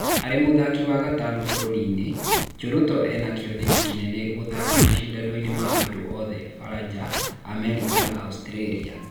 Arĩ mũthaki wa gatano bũrũriinĩ, Cheruto ena kĩoneki kĩnene gũgathaka mashindanoinĩ ma andũ othe Faranja, Amerika na Austĩrĩria.